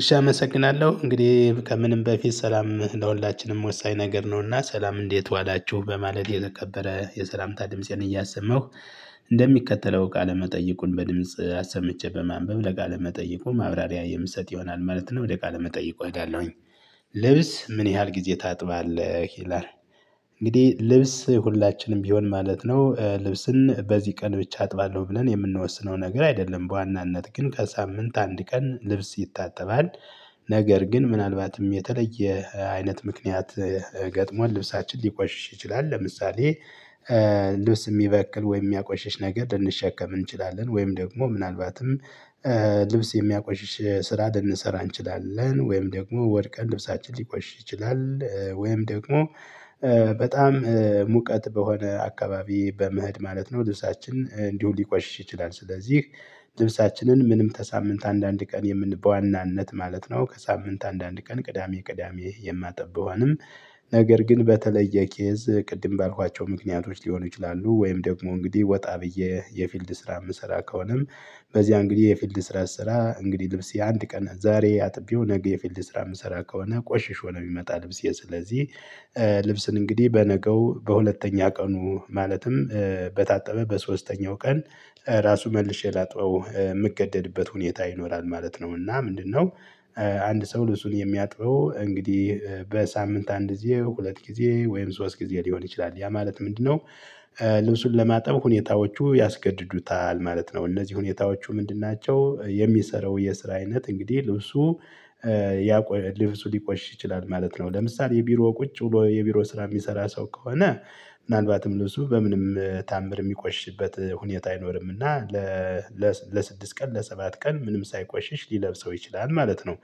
እሺ አመሰግናለሁ እንግዲህ ከምንም በፊት ሰላም ለሁላችንም ወሳኝ ነገር ነውና ሰላም እንዴት ዋላችሁ በማለት የተከበረ የሰላምታ ድምፄን እያሰማሁ እንደሚከተለው ቃለ መጠይቁን በድምጽ አሰምቼ በማንበብ ለቃለ መጠይቁ ማብራሪያ የምሰጥ ይሆናል ማለት ነው። ወደ ቃለ መጠይቁ እሄዳለሁኝ። ልብስ ምን ያህል ጊዜ ታጥባለህ ይላል? እንግዲህ ልብስ ሁላችንም ቢሆን ማለት ነው። ልብስን በዚህ ቀን ብቻ አጥባለሁ ብለን የምንወስነው ነገር አይደለም። በዋናነት ግን ከሳምንት አንድ ቀን ልብስ ይታጠባል። ነገር ግን ምናልባትም የተለየ አይነት ምክንያት። ገጥሞን ልብሳችን ሊቆሽሽ ይችላል። ለምሳሌ ልብስ የሚበክል ወይም የሚያቆሽሽ ነገር ልንሸከም እንችላለን ወይም ደግሞ ምናልባትም ልብስ የሚያቆሽሽ ስራ ልንሰራ እንችላለን ወይም ደግሞ ወድቀን ልብሳችን ሊቆሽሽ ይችላል። ወይም ደግሞ በጣም ሙቀት በሆነ አካባቢ በመሄድ ማለት ነው ልብሳችን እንዲሁ ሊቆሽሽ ይችላል። ስለዚህ ልብሳችንን ምንም ከሳምንት አንዳንድ ቀን የምንበዋናነት ማለት ነው ከሳምንት አንዳንድ ቀን ቅዳሜ ቅዳሜ የማጠብ ብሆንም። ነገር ግን በተለየ ኬዝ ቅድም ባልኳቸው ምክንያቶች ሊሆኑ ይችላሉ። ወይም ደግሞ እንግዲህ ወጣ ብዬ የፊልድ ስራ የምሰራ ከሆነም። በዚያ እንግዲህ የፊልድ ስራ ስሰራ እንግዲህ ልብሴ አንድ ቀን ዛሬ አጥቤው ነገ የፊልድ ስራ የምሰራ ከሆነ ቆሽሾ ነው። የሚመጣ ልብሴ ስለዚህ ልብስን እንግዲህ በነገው በሁለተኛ ቀኑ ማለትም በታጠበ በሶስተኛው ቀን ራሱ መልሼ ላጥበው የምገደድበት ሁኔታ ይኖራል ማለት ነው። እና ምንድነው? አንድ ሰው ልብሱን የሚያጥበው እንግዲህ በሳምንት አንድ ጊዜ ሁለት ጊዜ ወይም ሶስት ጊዜ ሊሆን ይችላል። ያ ማለት ምንድነው? ልብሱን ለማጠብ ሁኔታዎቹ ያስገድዱታል ማለት ነው። እነዚህ ሁኔታዎቹ ምንድን ናቸው? የሚሰራው የስራ አይነት እንግዲህ ልብሱ ልብሱ ሊቆሽሽ ይችላል ማለት ነው። ለምሳሌ የቢሮ ቁጭ ብሎ የቢሮ ስራ የሚሰራ ሰው ከሆነ ምናልባትም ልብሱ በምንም ተአምር የሚቆሽበት ሁኔታ አይኖርምና። ለስድስት ቀን ለሰባት ቀን ምንም ሳይቆሽሽ ሊለብሰው ይችላል ማለት ነው።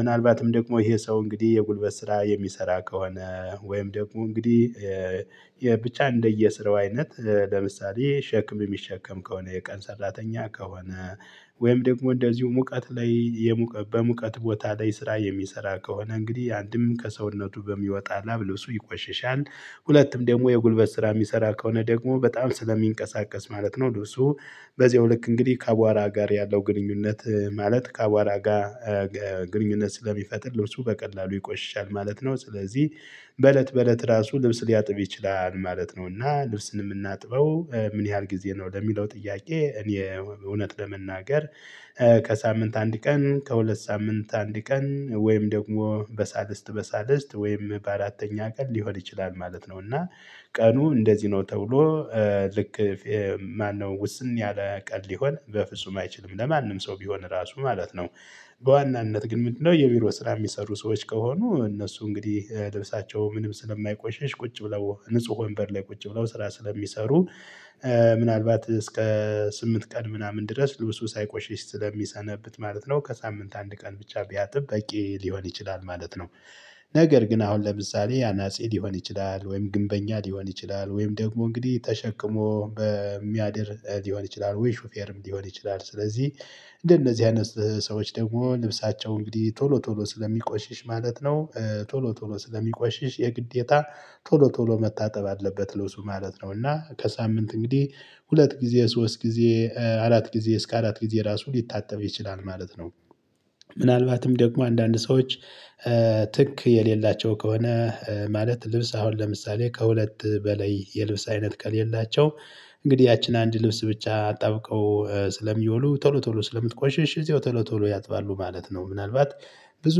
ምናልባትም ደግሞ ይሄ ሰው እንግዲህ የጉልበት ስራ የሚሰራ ከሆነ። ወይም ደግሞ እንግዲህ ብቻ እንደየስራው አይነት ለምሳሌ ሸክም የሚሸከም ከሆነ የቀን ሰራተኛ ከሆነ ወይም ደግሞ እንደዚሁ ሙቀት ላይ በሙቀት ቦታ ላይ ስራ የሚሰራ ከሆነ እንግዲህ አንድም ከሰውነቱ በሚወጣ ላብ ልብሱ ይቆሽሻል። ሁለትም ደግሞ የጉልበት ስራ የሚሰራ ከሆነ ደግሞ በጣም ስለሚንቀሳቀስ ማለት ነው። ልብሱ በዚያው ልክ እንግዲህ ከአቧራ ጋር ያለው ግንኙነት ማለት ከአቧራ ጋር ግንኙነት ስለሚፈጥር ልብሱ በቀላሉ ይቆሻል ማለት ነው። ስለዚህ በእለት በእለት ራሱ ልብስ ሊያጥብ ይችላል ማለት ነው። እና ልብስን የምናጥበው ምን ያህል ጊዜ ነው? ለሚለው ጥያቄ እኔ እውነት ለመናገር ከሳምንት አንድ ቀን ከሁለት ሳምንት አንድ ቀን ወይም ደግሞ በሳልስት በሳልስት ወይም በአራተኛ ቀን ሊሆን ይችላል ማለት ነው። እና ቀኑ እንደዚህ ነው ተብሎ ልክ ማነው ውስን ያለ ቀን ሊሆን በፍጹም አይችልም። ለማንም ሰው ቢሆን ራሱ ማለት ነው። በዋናነት ግን ምንድነው? የቢሮ ስራ የሚሰሩ ሰዎች ከሆኑ እነሱ እንግዲህ ልብሳቸው ምንም ስለማይቆሸሽ ቁጭ ብለው ንጹህ ወንበር ላይ ቁጭ ብለው ስራ ስለሚሰሩ ምናልባት እስከ ስምንት ቀን ምናምን ድረስ ልብሱ ሳይቆሽሽ ስለሚሰነብት ማለት ነው። ከሳምንት አንድ ቀን ብቻ ቢያጥብ በቂ ሊሆን ይችላል ማለት ነው። ነገር ግን አሁን ለምሳሌ አናጺ ሊሆን ይችላል ወይም ግንበኛ ሊሆን ይችላል ወይም ደግሞ እንግዲህ ተሸክሞ በሚያድር ሊሆን ይችላል ወይ ሹፌርም ሊሆን ይችላል ስለዚህ እንደነዚህ አይነት ሰዎች ደግሞ ልብሳቸው እንግዲህ ቶሎ ቶሎ ስለሚቆሽሽ ማለት ነው። ቶሎ ቶሎ ስለሚቆሽሽ የግዴታ ቶሎ ቶሎ መታጠብ አለበት ልብሱ ማለት ነው። እና ከሳምንት እንግዲህ ሁለት ጊዜ ሶስት ጊዜ አራት ጊዜ እስከ አራት ጊዜ ራሱ ሊታጠብ ይችላል ማለት ነው። ምናልባትም ደግሞ አንዳንድ ሰዎች ትክ የሌላቸው ከሆነ ማለት ልብስ አሁን ለምሳሌ ከሁለት በላይ የልብስ አይነት ከሌላቸው እንግዲህ ያቺን አንድ ልብስ ብቻ አጣብቀው ስለሚወሉ ቶሎ ቶሎ ስለምትቆሽሽ እዚህ ቶሎ ቶሎ ያጥባሉ ማለት ነው። ምናልባት ብዙ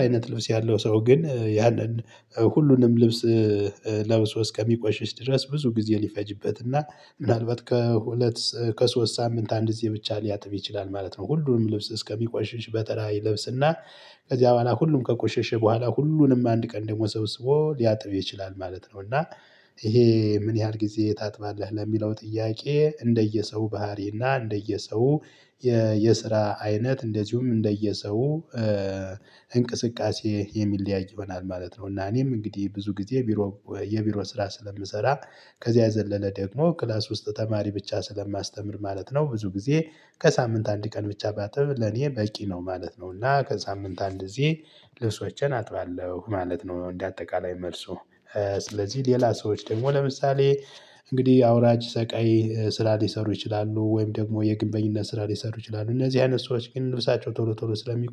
አይነት ልብስ ያለው ሰው ግን ያንን ሁሉንም ልብስ ለብሶ እስከሚቆሽሽ ድረስ ብዙ ጊዜ ሊፈጅበት እና ምናልባት ከሁለት ከሶስት ሳምንት አንድ ጊዜ ብቻ ሊያጥብ ይችላል ማለት ነው። ሁሉንም ልብስ እስከሚቆሽሽ በተራ ይለብስና ከዚያ በኋላ ሁሉም ከቆሸሽ በኋላ ሁሉንም አንድ ቀን ደግሞ ሰብስቦ ሊያጥብ ይችላል ማለት ነው። እና ይሄ ምን ያህል ጊዜ ታጥባለህ ለሚለው ጥያቄ እንደየሰው ባህሪ እና እንደየሰው የስራ አይነት እንደዚሁም እንደየሰው እንቅስቃሴ የሚለያይ ይሆናል ማለት ነው። እና እኔም እንግዲህ ብዙ ጊዜ ቢሮ የቢሮ ስራ ስለምሰራ ከዚያ የዘለለ ደግሞ ክላስ ውስጥ ተማሪ ብቻ ስለማስተምር ማለት ነው። ብዙ ጊዜ ከሳምንት አንድ ቀን ብቻ ባጥብ ለኔ በቂ ነው ማለት ነው። እና ከሳምንት አንድ ግዜ ልብሶችን አጥባለሁ ማለት ነው። እንደ አጠቃላይ መልሱ ስለዚህ ሌላ ሰዎች ደግሞ ለምሳሌ እንግዲህ አውራጅ ሰቃይ ስራ ሊሰሩ ይችላሉ ወይም ደግሞ የግንበኝነት ስራ ሊሰሩ ይችላሉ እነዚህ አይነት ሰዎች ግን ልብሳቸው ቶሎ ቶሎ ስለሚቆይ